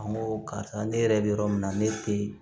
An ko karisa ne yɛrɛ bɛ yɔrɔ min na ne tɛ